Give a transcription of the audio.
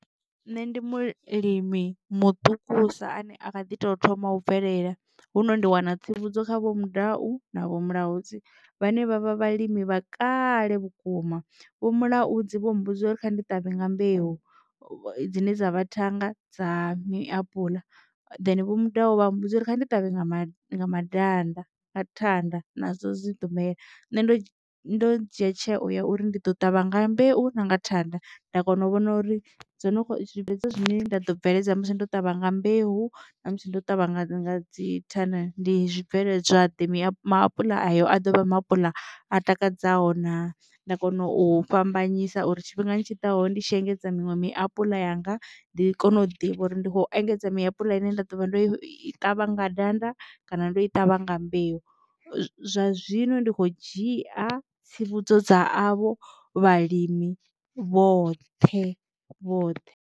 Nṋe ndi mulimi maṱukusa ane a kha ḓi tou thoma u bvelela hu no ri ndi wana tsivhudzo kha vho mudau na vho mulaudzi vhane vhavha vhalimi vha kale vhukuma. Vho mulaudzi vho mbudza uri kha ndi ṱavhe nga mbeu dzine dza vha thanga dza maapuḽa then vho mudau vha mmbudza uri ndi ṱavhe nga madanda nga thanda nadzo dzi ḓo mela nṋe ndo ndo dzhia tsheo ya uri ndi ḓo ṱavha nga na mbeu na nga thanda nda kona u vhona uri dzo no zwibveledzwa zwine nda ḓo bveledza musi ndo ṱavha mbeu na musi ndo ṱavha nga dzi thanda ndi zwibveledzwa ḓe. Maapuḽa ayo a dovha maapuḽa a takadzaho na nda kona u fhambanyisa uri tshifhingani tshiḓaho ndi tshi engedza miṅwe miapuḽa yanga ndi kone u ḓivha uri ndi khou engedza miapuḽa ine nda ḓovha ndo i ṱavha nga danda kana ndo i ṱavha nga mbeu zwa zwino ndi kho dzhia tsivhudzo dza avho vhalimi vhoṱhe vhoṱhe.